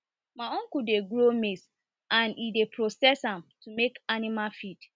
my uncle dey grow maize and e and e dey process am to make animal feed